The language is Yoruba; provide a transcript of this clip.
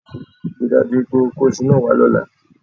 Rí i dájú wípé o kó isu náà wá lọ́la